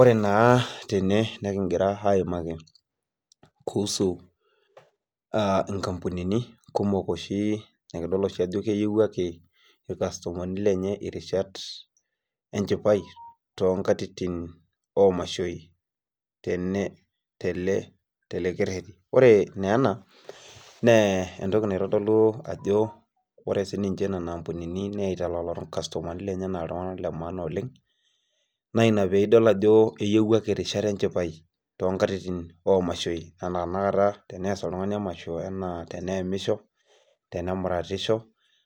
Ore naa tene nikigira aaimaki kuusu nkampunini olosho niyiewuaki, ilkastomani lenye irishat enchipai, too nkatitin, oo mashoi tele keretimoee naa ena naa entoki naitodolu Ako ore Nena kampunini neita ilkastomani lenye anaa entoki emaana oleng. naa Ina pee idol ajo eyiewiaki irishat enchipai too nkatitin oo mashoi anan tenakata tenees oltungani emasho, tenayamisho, tenemutatishi,